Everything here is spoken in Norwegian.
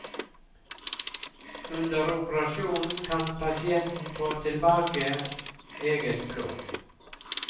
Under operasjonen kan pasienten få tilbake eget blod.